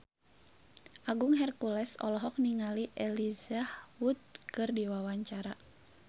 Agung Hercules olohok ningali Elijah Wood keur diwawancara